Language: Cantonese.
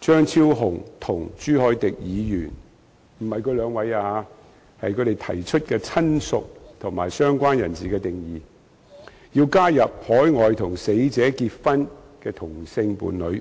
張超雄議員和朱凱廸議員——並非針對他們兩位——提出有關"親屬"和"相關人士"的定義，要求加入與死者在海外結婚的同性伴侶。